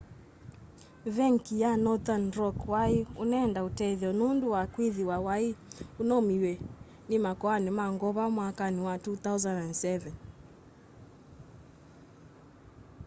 venki wa nothern rock wai unenda utethyo nundu wa kwithiwa wai unaumiw'a ni makoani ma ngova mwakani wa 2007